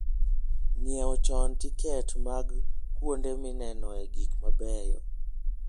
Ng'iewo chon tiket mag kuonde minenoe gik mabeyo.